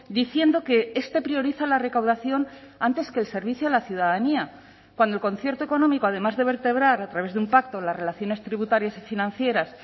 diciendo que este prioriza la recaudación antes que el servicio a la ciudadanía cuando el concierto económico además de vertebrar a través de un pacto las relaciones tributarias y financieras